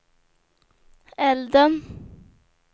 elden